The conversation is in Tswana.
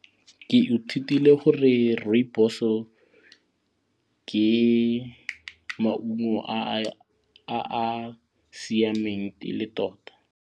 Ke ithutile gore rooibos-o ke maungo a a siameng e le tota.